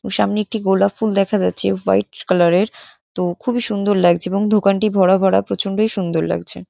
ও সামনে একটি গোলাপ ফুল দেখা যাচ্ছে ওয়াইট কালার এর। তো খুবই সুন্দর লাগছে এবং দোকানটি ভরা ভরা প্রচণ্ডই সুন্দর লাগছে।